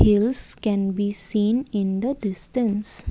Hills can be seen in the distance.